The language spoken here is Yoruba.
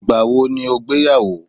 igbawo ni o gbeyawo